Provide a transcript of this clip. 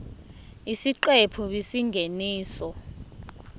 isiqephu b isingeniso